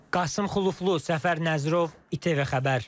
Qasım Xulufli, Səfər Nəzirov, İTV Xəbər.